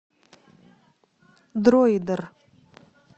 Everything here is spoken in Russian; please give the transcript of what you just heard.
дроидер